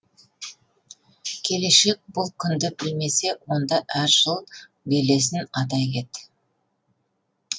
келешек бұл күнді білмесе онда әр жыл белесін атай кет